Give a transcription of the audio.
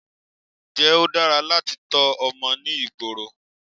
Ǹjẹ́ ó dára láti tọ́ ọmọ ní ìgboro?